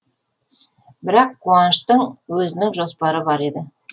бірақ қуаныштың өзінің жоспары бар еді